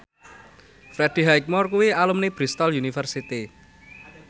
Freddie Highmore kuwi alumni Bristol university